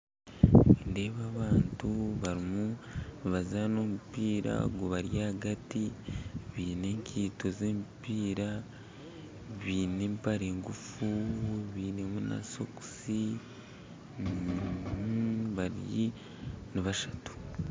Nindeeba abantu barimu nibazana omupiira gubari ahagati baine enkaito z'emipiira baine empare engufu bainemu na sokisi ni basatu